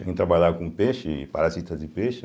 A gente trabalhava com peixe e parasitas de peixe.